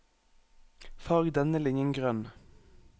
Farg denne linjen grønn